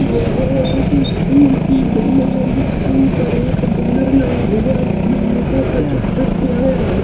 यह एक स्कूल की बिल्डिंग है जिसके ऊपर एक बैनर लगा हुआ है जिसमें योगा का चित्र दिया हुआ है।